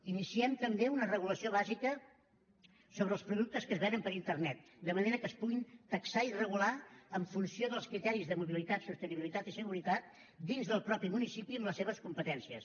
iniciem també una regulació bàsica sobre els productes que es venen per internet de manera que es puguin taxar i regular en funció dels criteris de mobilitat sostenibilitat i seguretat dins del mateix municipi amb les seves competències